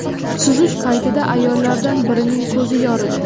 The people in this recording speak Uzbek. Suzish paytida ayollardan birining ko‘zi yoridi.